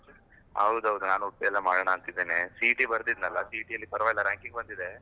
ಹೌದೌದು ನಾನು ಉಡುಪಿಯಲ್ಲೇ ಮಾಡೋಣ ಅಂತ ಇದ್ದೇನೆ, CET ಬರ್ದಿದ್ನಲ್ಲ CET ಅಲ್ಲಿ ಪರವಾಗಿಲ್ಲ ranking ಬಂದಿದೆ.